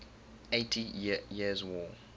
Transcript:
eighty years war